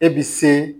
E bi se